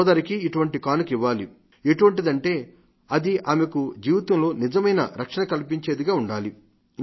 సోదరికి ఇటువంటి కానుక ఇవ్వాలి ఎటివంటిదంటే అది ఆమెకు జీవితంలో నిజమైన రక్షణ కల్పించేదిగా ఉండాలి